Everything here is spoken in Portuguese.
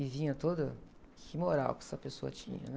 E vinha toda... Que moral que essa pessoa tinha, né?